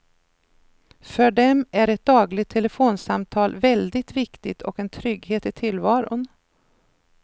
För dem är ett dagligt telefonsamtal väldigt viktigt och en trygghet i tillvaron.